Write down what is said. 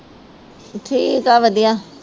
ਠੀਕ ਆ ਵਧੀਆ